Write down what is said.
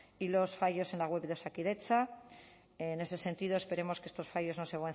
y los fallos en la web de osakidetza en ese sentido esperemos que estos fallos no se